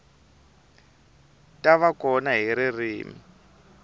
ta va kona hi ririmi